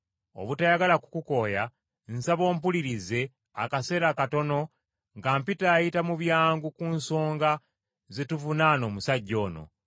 Obutayagala kukukooya, nsaba ompulirize akaseera katono nga mpitaayita mu byangu ku nsonga ze tuvunaana omusajja ono.